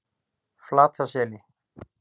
Flataseli